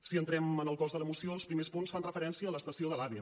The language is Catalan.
si entrem en el cos de la moció els primers punts fan referència a l’estació de l’ave